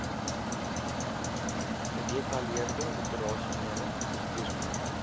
gedetaileerde operasionele bestuursplanne